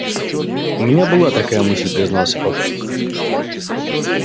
у меня была такая мысль признался папулька